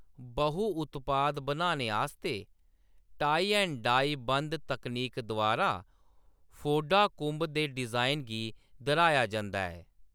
बहु उत्पाद बनाने आस्तै टाई ऐंड डाई बंध तकनीक द्वारा, फोडा कुंभ दे डिजाइन गी दर्‌हाया जंदा ऐ।